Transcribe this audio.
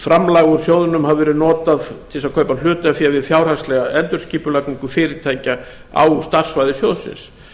framlag úr sjóðnum hafi verið notað til þess að kaupa hlutafé við fjárhagslega endurskipulagningu fyrirtækja á starfssvæði sjóðsins